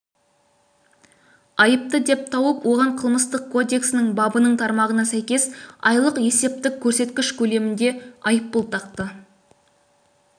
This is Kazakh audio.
айыпты деп тауып оған қылмыстық кодексінің бабының тармағына сәйкес айлық есептік көрсеткіш көлемінде айыппұл тақты